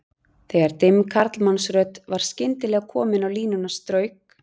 Þegar dimm karlmannsrödd var skyndilega komin á línuna strauk